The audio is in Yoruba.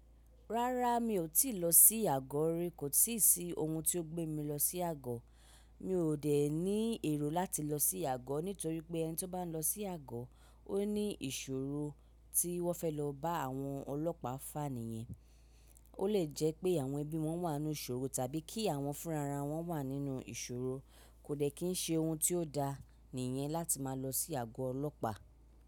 Rárá mi ò tíì lọ sí àgọ̀ rí, kò sì sí ohun tó gbé mi lọ sí àgọ̀. Mi ò dẹ̀ ní èrò láti lọ sí àgọ̀ nítorí pé ẹni tí ó bá ń lọ sí àgọ̀ ó ní ìṣòro tí wọ́n fẹ́ lọ bá àwọn ọlọ́pàá fá ni yẹn. Ó lè jẹ́ pé àwọn ẹbí wọn wà nínú ìṣòro tàbí kí àwọn fúnra wọn wà nínú ìṣòro. Kò dẹ̀ kí ń ṣe ohun tí ó da ni i yẹn láti máa lọ sí àgọ́ ọlọ́pàá.